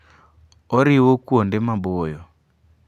Oriwo kuonde maboyo.